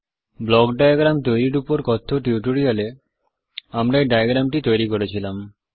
block diagram তৈরির উপর কথ্য টিউটোরিয়াল এ আমরা এই ডায়াগ্রামটি তৈরি করেছিলাম